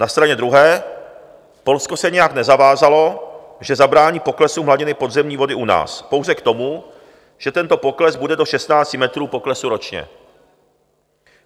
Na straně druhé Polsko se nijak nezavázalo, že zabrání poklesu hladiny podzemní vody u nás, pouze k tomu, že tento pokles bude do 16 metrů poklesu ročně.